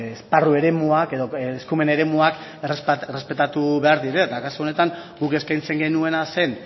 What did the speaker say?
esparru eremuak edo eskumen eremuak errespetatu behar direla eta kasu honetan guk eskaintzen genuena zen